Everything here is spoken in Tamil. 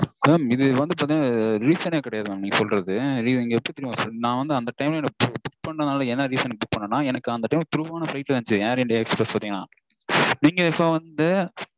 Mam இது வந்து பாத்தீங்கனா reason -ஏ கெடையாது mam நீங்க சொல்றது. நா வந்து அந்த time -ல எனக்கு book பண்ணதால என்ன reason -னு book பண்ணேனா எனக்கு அந்த time -ல through ஆன flight இருந்துச்சு Air India Express பாத்தீங்கனா. இப்போ வந்து